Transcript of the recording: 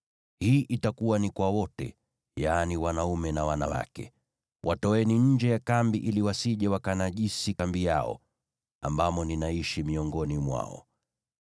Hii itakuwa ni kwa wote, yaani, wanaume na wanawake; watoeni nje ya kambi ili wasije wakanajisi kambi yao, ambamo ninaishi miongoni mwao.”